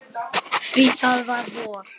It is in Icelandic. Því það var vor.